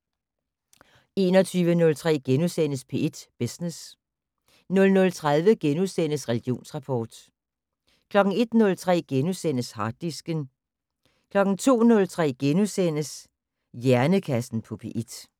21:03: P1 Business * 00:30: Religionsrapport * 01:03: Harddisken * 02:03: Hjernekassen på P1 *